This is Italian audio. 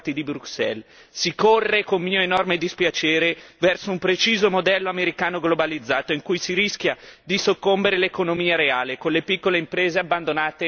Si corre, con mio enorme dispiacere, verso un preciso modello americano globalizzato, in cui rischia di soccombere l'economia reale con le piccole imprese abbandonate al loro destino.